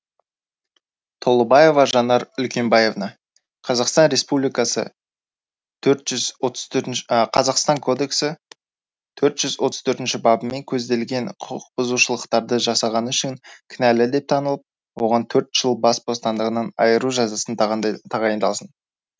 толыбаева жанар үлкенбаевна қазақстан республикасы қазақстан кодексі төрт жүз отыз төртінші бабымен көзделген құқықбұзушалақтарды жасағаны үшін кінәлі деп танылып оған төрт жыл бас бостандығынан айыру жазасы тағайындалсын